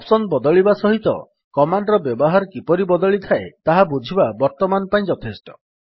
option ବଦଳିବା ସହିତ command ର ବ୍ୟବହାର କିପରି ବଦଳିଥାଏ ତାହା ବୁଝିବା ବର୍ତ୍ତମାନ ପାଇଁ ଯଥେଷ୍ଟ